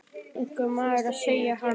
Einhver verður að segja hann.